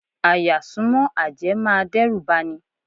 À-yà súnmọ́ àjẹ́ máa dẹ́rùbà ni.